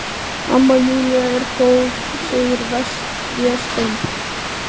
Amma Júlía er góð, segir Vésteinn.